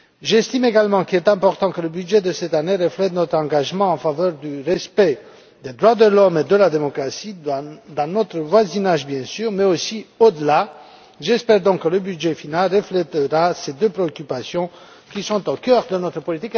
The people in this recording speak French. J'estime également qu'il est important que le budget de cette année reflète notre engagement en faveur du respect des droits de l'homme et de la démocratie dans notre voisinage, mais aussi au delà. J'espère donc que le budget final reflétera ces deux préoccupations qui sont au cœur de notre politique étrangère.